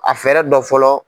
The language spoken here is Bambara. A fɛɛrɛ dɔ fɔlɔ.